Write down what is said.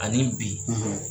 Ani bi